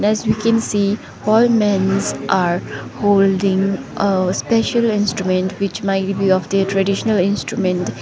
as we can see all mens are holding a special instrument which might be of their traditional instrument.